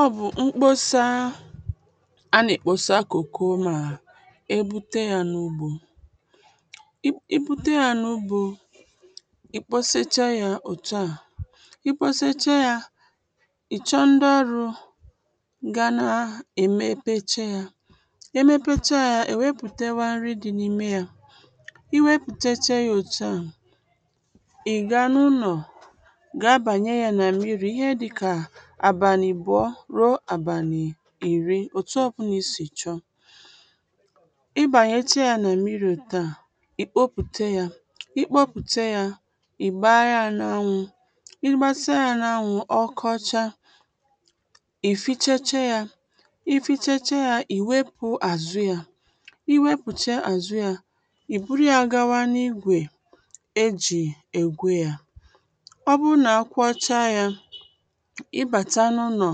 ọ bụ̀ m̀kposaa a nà-èkpòsà kòkò ma è gbute ya n’ugbò i gbute ya n’ugbò i kposachaa ya òtu a i kposachaa ya ị̀ chọọ ǹdị̀ ọrụ̀ ga nà-èmepecha ya e mepechaa ya è wepụ̀tawa nri dị n’ime ya i wepụ̀techee ya òtù a ị̀ gaa n’ụlọ̀ gaa banye ya mmiri ihẹ dịkà abalị ịbụọ ruo abalị iri, otu ọbụla i si chọọ ị bànyèchaa ya nà m̀miri òtù a i gbopùte ya, i gbopùte ya ị̀ gbaa ya n’anwụ̄ ị gbasịa ya n’anwụ̄ ọ kọchaa, ì fichechee ya i fichechee ya, ị̀ wepụ àzụ ya ị wepụ̀chaa àzụ ya ì buru ya gawa n’igwē e jī ègwù ya ọ bụrụ nà a kwọcha ị bata n’ụlọ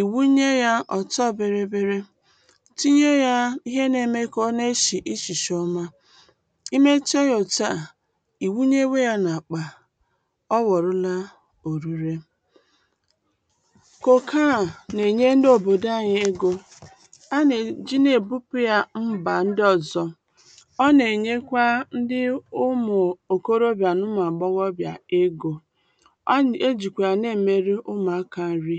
ị wunye ya ọtọ bịrị bịrị ì tinye ya ihe na-eme kà ọ nà-eshi ishishi i mechie ya òtù a, ì wunyewe ya n’àkpà ọ wọ̀nụla orire koko a nà-enye ǹdị òbòdò anyị egō a nà-èji nà-ebupu ya mbā ǹdị ọ̀zọ̀ ọ nà-enyekwa ǹdị ụmụ̀ òkorobịà nà ụmụ̀ àgbọghọbịà egō e jìkwa ya nà-emere ụmụ̀akà ǹri